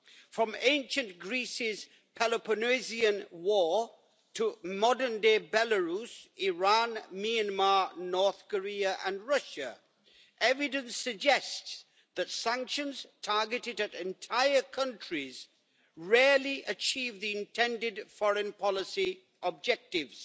From Ancient Greece's Peloponnesian War, to modern day Belarus, Iran, Myanmar, North Korea and Russia, evidence suggests that sanctions targeted at entire countries rarely achieve the intended foreign policy objectives.